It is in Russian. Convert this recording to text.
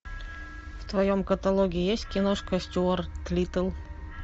в твоем каталоге есть киношка стюарт литтл